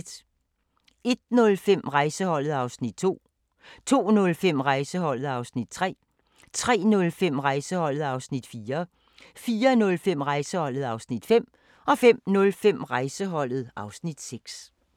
01:05: Rejseholdet (Afs. 2) 02:05: Rejseholdet (Afs. 3) 03:05: Rejseholdet (Afs. 4) 04:05: Rejseholdet (Afs. 5) 05:05: Rejseholdet (Afs. 6)